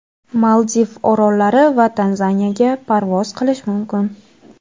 Maldiv orollari va Tanzaniyaga parvoz qilish mumkin.